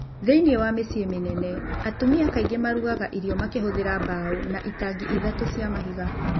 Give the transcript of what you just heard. Thĩinĩ wa mĩciĩ mĩnene, atumia kaingĩ maarugaga irio makĩhũthĩra mbaũ na itangi ithatũ cia mahiga.